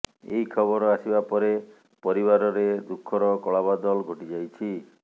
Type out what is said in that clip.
ଏହି ଖବର ଆସିବା ପରେ ପରିବାରରେ ଦୁଃଖର କଳା ବାଦଲ ଘୋଟି ଯାଇଛି